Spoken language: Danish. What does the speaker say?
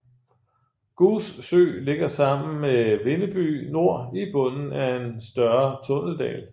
Goos Sø ligger sammen med Vindeby Nor i bunden af en større tunneldal